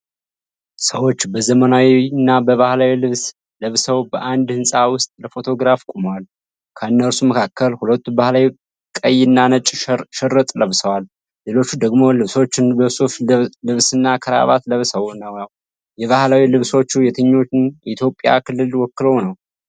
ሰዎች በዘመናዊና በባህላዊ ልብስ ለብሰው በአንድ ህንፃ ውስጥ ለፎቶግራፍ ቆመዋል። ከእነርሱ መካከል ሁለቱ ባህላዊ ቀይና ነጭ ሽርጥ ለብሰዋል፤ ሌሎቹ ደግሞ ልብሶቹን በሱፍ ልብስና ክራባት ለብሰው ነው። የባህላዊ ልብሶቹ የትኛውን የኢትዮጵያ ክልል ወክለው ነው?